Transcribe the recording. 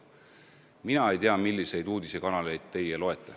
Mina ei tea, milliseid uudistekanaleid teie jälgite.